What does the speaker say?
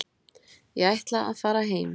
Ég ætla að fara heim.